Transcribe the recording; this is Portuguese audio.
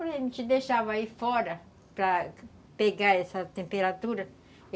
A gente deixava aí fora para pegar essa temperatura.